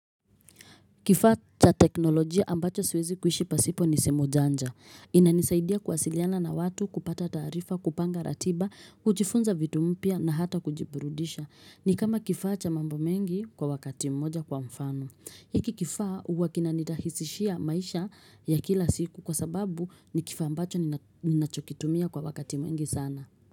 Kifaa cha teknolojia ambacho siwezi kuishi pasipo ni simu janja. Inanisaidia kuwasiliana na watu kupata taarifa, kupanga ratiba, kujifunza vitu mpya na hata kujiburudisha. Ni kama kifaa cha mambo mengi kwa wakati mmoja kwa mfano. Hiki kifaa huwa kina nirahisishia maisha ya kila siku kwa sababu ni kifaa ambacho ninachokitumia kwa wakati mwingi sana.